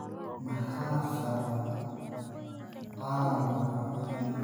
Maxaa sababa caabuqa halbowlaha celiacga?